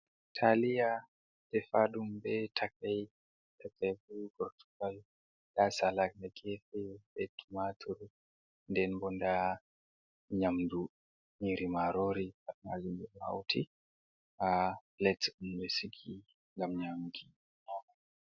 Taliya defa ɗum be takai Perpesu gortugal nda salat ha gefe be tumatur. Nden bo nda nyamdu nyiri marori. Pat majum ɓe ɗo hauti ha plet ɓe sigi ngam nyamuki.